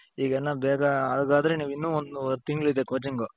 ಈಗೇನೋ ಬೇಗ ಹಾಗಾದ್ರೆ ನೀವಿನ್ನು ಒಂದೂವರೆ ತಿಂಗಳು ಇದೆ coaching?